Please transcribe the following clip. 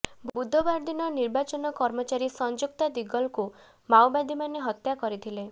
ବୁଧବାର ଦିନ ନିର୍ବାଚନ କର୍ମଚାରୀ ସଂଯୁକ୍ତା ଦିଗଲଙ୍କୁ ମାଓବାଦୀମାନେ ହତ୍ୟା କରିଥିଲେ